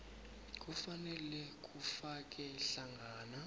kufanele kufake hlangana